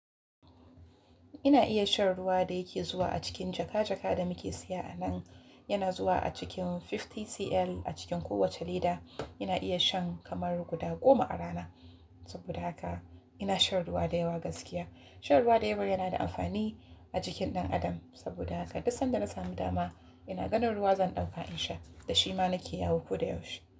Ina iya shan ruwa da yake zuwa a cikin jaka-jaka da muke siya a nan. Yana zuwa a cikin 50cl a cikin kowacce leda. Ina iya shan kamar guda goma a rana. Saboda haka ina shan ruwa da yawa gaskiya. Shan ruwa da yawa yana da amfani a jikin ɗan adam. Saboda haka duk sanda na samu dama, ina ganin ruwa zan ɗauka in sha. Da shi ma nake yawo ko da yaushe.